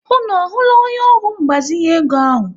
Unu ahụla onye ọrụ mgbazinye ego ahụ?